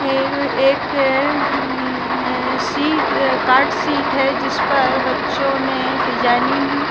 एक hmm sheet card sheet है जिस पर बच्चों नें डिजाइनिंग --